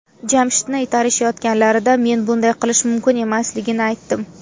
Jamshidni itarishayotganlarida men bunday qilish mumkin emasligini aytdim.